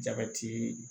Jabɛti